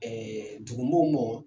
dugu mɔɔw mɔ.